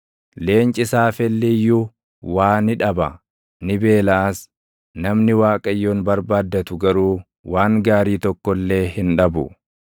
Leenci saafelli iyyuu waa ni dhaba; ni beelaʼas; namni Waaqayyoon barbaaddatu garuu // waan gaarii tokko illee hin dhabu.